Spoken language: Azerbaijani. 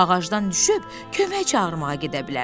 Ağacdan düşüb kömək çağırmaya gedə bilər.